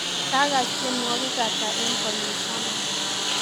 Kakass tienwogik ata eng konyil taman